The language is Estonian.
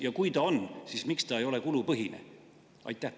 Ja kui ta on, siis miks ta ei ole kulupõhine?